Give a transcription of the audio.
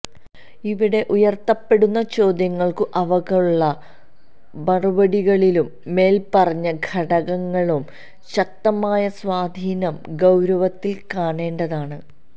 ഇവിടെ ഉയർത്തപ്പെടുന്ന ചോദ്യങ്ങൾക്കും അവക്കുള്ള മറുപടികളിലും മേൽപ്പറഞ്ഞ ഘടകങ്ങളുടെ ശക്തമായ സ്വാധീനം ഗൌരവത്തിൽ കാണേണ്ടതാണ്